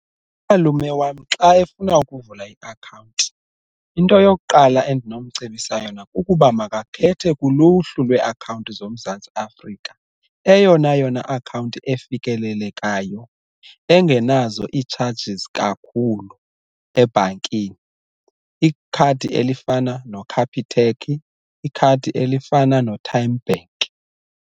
Umalume wam xa efuna ukuvula i-akhawunti into yokuqala endinomcebisa yona kukuba makakhethe kuluhlu lwee-akhawunti zoMzantsi Afrika eyona yona akhawunti efikelelekayo, engenazo iitshajizi kakhulu ebhankini ikhadi elifana noCapitec, ikhadi elifana noTymeBank.